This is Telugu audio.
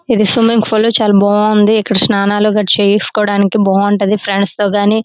ఇది స్విమ్మింగ్ పూల్ చాలా బాగుంది. ఇక్కడ సన్నాలు అవి చేయచ్చు. చాలా బాగుంతాడి ఫ్రెండ్సతో --